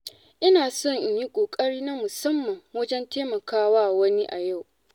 Ina so in yi ƙoƙari na musamman wajen taimakawa wani a yau.